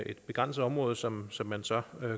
et begrænset område som som man så